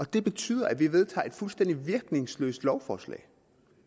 det betyder at vi vedtager et fuldstændig virkningsløst lovforslag